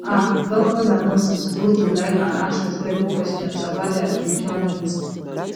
ah doctors and nurses suppose to like and ask respectful questions about dia spiritual needs